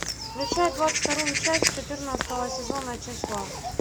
включай двадцать вторую часть четырнадцатого сезона числа